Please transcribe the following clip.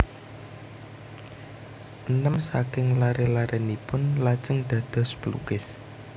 Enem saking laré larénipun lajeng dados pelukis